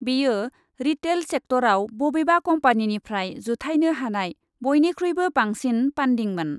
बेयो रिटेल सेक्टरआव बबेबा कम्पानिनिफ्राय जुथाइनो हानाय बयनिखुइबो बांसिन पान्डिंमोन ।